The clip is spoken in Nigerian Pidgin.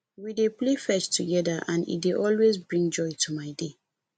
we dey play fetch together and e dey always bring joy to my day